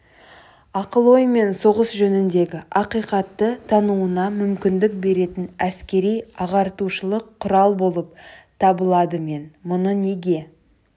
ақыл-оймен соғыс жөніндегі ақиқатты тануына мүмкіндік беретін әскери ағартушылық құрал болып табыладымен мұны неге